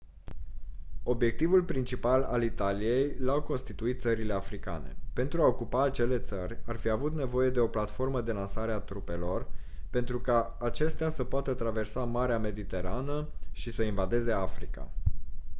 obiectivul principal al italiei l-au constituit țările africane pentru a ocupa acele țări ar fi avut nevoie de o platformă de lansare a trupelor pentru ca acestea să poată traversa marea mediterană și să invadeze africa